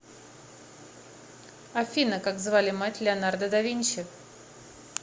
афина как звали мать леонардо да винчи